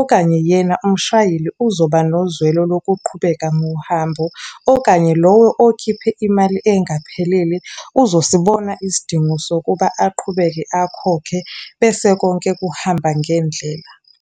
okanye yena umshayeli uzoba nozwelo lokuqhubeka nohambo. Okanye lowo okhiphe imali engaphelele uzosibona isidingo sokuba aqhubeke akhokhe, bese konke kuhamba ngendlela.